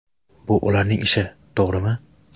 Bu ularning ishi, to‘g‘rimi?